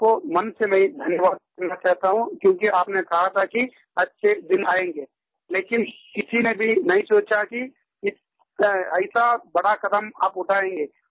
आपको मन से मैं धन्यवाद देना चाहता हूँ क्योंकि आपने कहा था कि अच्छे दिन आएँगे लेकिन किसी ने भी नहीं सोचा कि ऐसा बड़ा क़दम आप उठाएँगे